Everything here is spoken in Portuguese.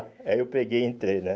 Aí eu peguei e entrei, né?